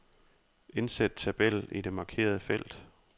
Indsæt tabel i det markerede felt.